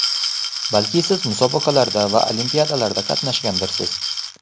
Balki siz musobaqalarda va olimpiadalarda qatnashgandirsiz?